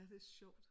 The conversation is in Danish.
Ja ja det er sjovt